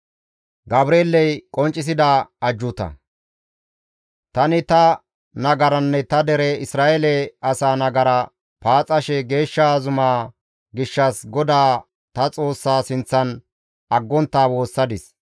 Tani ta nagaranne ta dere Isra7eele asaa nagara paaxashe geeshsha zumaa gishshas GODAA ta Xoossa sinththan aggontta woossadis.